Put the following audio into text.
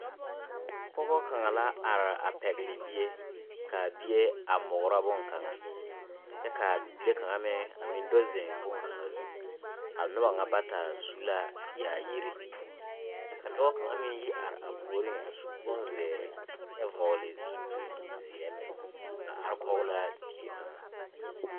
Pɔgɔ kaŋ la are a pɛgle bie kaa bie a mugrɔ bonkaŋa kyɛ kaa bibile kaŋa meŋ a meŋ do zeŋ bonkaŋa zu a noba ŋa bata su ka yaayire ka dɔɔ kaŋa meŋ yi are ba puoriŋ a su bonzeere kyɛ vɔgle zupile zeɛ a are kɔg laa die kaŋa.